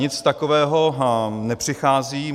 Nic takového nepřichází.